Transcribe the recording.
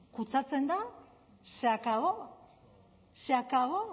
kutsatzen da se acabó se acabó